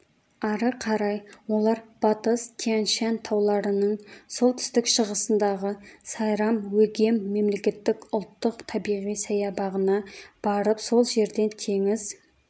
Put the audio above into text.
ары қарай олар батыс тянь-шань тауларының солтүстік-шығысындағы сайрам-өгем мемлекеттік ұлттық табиғи саябағына барып сол жерден теңіз